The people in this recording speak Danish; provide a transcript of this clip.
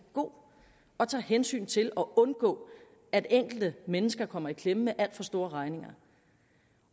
god og tager hensyn til at undgå at enkelte mennesker kommer i klemme med alt for store regninger